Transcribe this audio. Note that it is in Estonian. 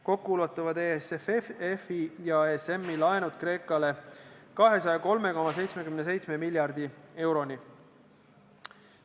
Kokku ulatuvad EFSF-i ja ESM-i laenud Kreekale 203,77 miljardi euroni.